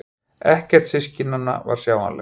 Ekkert systkinanna var sjáanlegt.